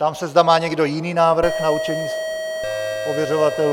Ptám se, zda má někdo jiný návrh na určení ověřovatelů?